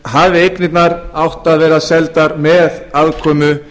hafi eignirnar átt að vera seldar með aðkomu